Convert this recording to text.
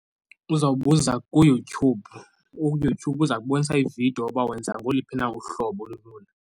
Uzawubuza kuYouTube, uYouTube uza kubonisa iividiyo uba wenza ngoliphi na uhlobo olulula.